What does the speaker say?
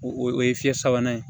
O o ye fiɲɛ sabanan ye